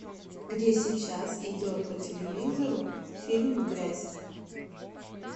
где сейчас идет по телевизору фильм грязь